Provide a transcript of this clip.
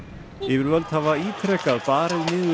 yfirvöld hafa ítrekað barið niður